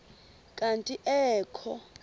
kanti ee kho